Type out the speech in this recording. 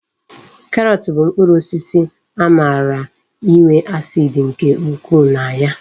Karọt bụ mkpụrụ osisi amara inwe acid nke ukwu na ya